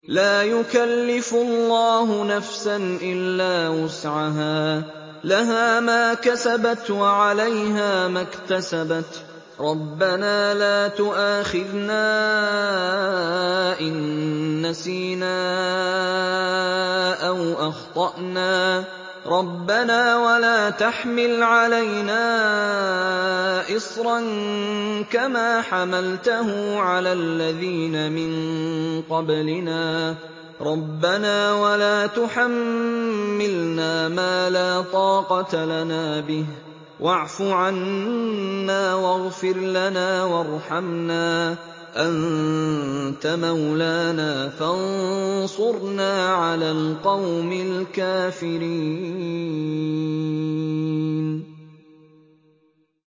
لَا يُكَلِّفُ اللَّهُ نَفْسًا إِلَّا وُسْعَهَا ۚ لَهَا مَا كَسَبَتْ وَعَلَيْهَا مَا اكْتَسَبَتْ ۗ رَبَّنَا لَا تُؤَاخِذْنَا إِن نَّسِينَا أَوْ أَخْطَأْنَا ۚ رَبَّنَا وَلَا تَحْمِلْ عَلَيْنَا إِصْرًا كَمَا حَمَلْتَهُ عَلَى الَّذِينَ مِن قَبْلِنَا ۚ رَبَّنَا وَلَا تُحَمِّلْنَا مَا لَا طَاقَةَ لَنَا بِهِ ۖ وَاعْفُ عَنَّا وَاغْفِرْ لَنَا وَارْحَمْنَا ۚ أَنتَ مَوْلَانَا فَانصُرْنَا عَلَى الْقَوْمِ الْكَافِرِينَ